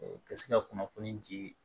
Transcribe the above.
Ka se ka kunnafoni di